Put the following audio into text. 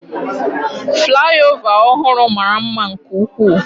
Flyover ọhụrụ mara mma nke ukwuu.